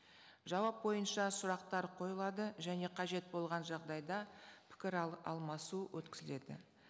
жауап бойынша сұрақтар қойылады және қажет болған жағдайда пікір алмасу өткізіледі